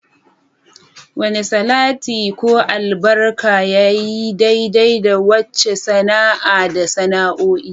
Wane salati ko albarka yayi daidai da wace sana'a da sana'o'i?